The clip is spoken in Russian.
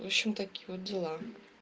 в общем такие вот дела